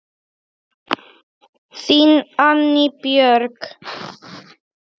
Þín, Anný Björg.